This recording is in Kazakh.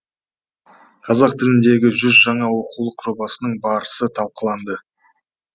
қазақ тіліндегі жүз жаңа оқулық жобасының барысы талқыланды